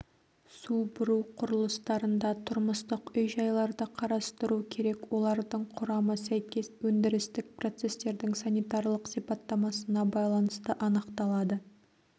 су бұру құрылыстарында тұрмыстық үй-жайларды қарастыру керек олардың құрамы сәйкес өндірістік процестердің санитарлық сипаттамасына байланысты анықталады